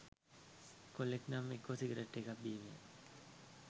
කොල්ලෙක් නම් එක්කෝ සිගරට් එකක් බීමය.